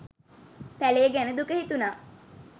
පැලේ ගැන දුක හිතුණා.